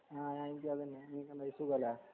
ആഹ് അൻഷാദന്നെ എന്തൊക്കെന്ഡ് സുഖല്ലേ